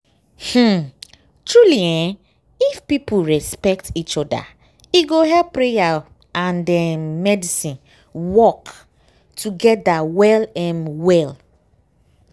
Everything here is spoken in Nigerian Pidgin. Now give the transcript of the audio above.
um truely eeh if people respect each oda e go help prayer and um medicine work togeda well em well.